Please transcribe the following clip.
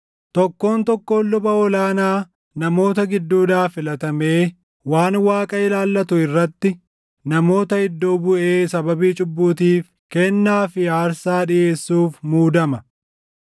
Tokkoon tokkoon luba ol aanaa namoota gidduudhaa filatamee waan Waaqa ilaallatu irratti namoota iddoo buʼee sababii cubbuutiif kennaa fi aarsaa dhiʼeessuuf muudama.